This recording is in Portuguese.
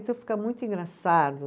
Então fica muito engraçado.